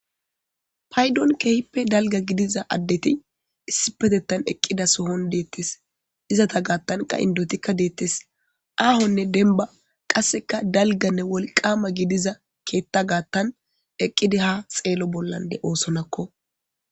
Payddon kehippe dalga giddiza addeti issippettetan eqqida sohon dettesi iizeeta gaatan qa inddotika dettes ahhone dembba qasseka dalggane wolqqama keetta gattan eqqidi ha xeello bolla dettesiko.